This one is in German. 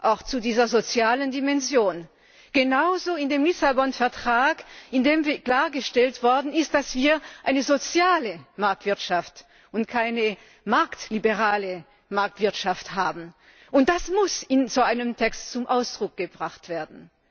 auch zu dieser sozialen Dimension. Genauso in dem Vertrag von Lissabon, in dem klargestellt worden ist, dass wir eine soziale Marktwirtschaft und keine marktliberale Marktwirtschaft haben. Und das muss in so einem Text zum Ausdruck gebracht werden.